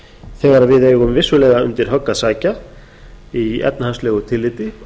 þegar við eigum vissulega undir högg að sækja í efnahagslegu tilliti